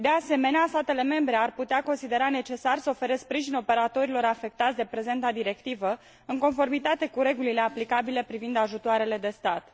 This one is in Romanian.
De asemenea, statele membre ar putea considera necesar să ofere sprijin operatorilor afectați de prezenta directivă, în conformitate cu regulile aplicabile privind ajutoarele de stat.